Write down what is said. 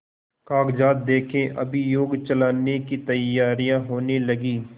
कागजात देखें अभियोग चलाने की तैयारियॉँ होने लगीं